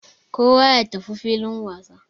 Kowa ya tafi filin wasa.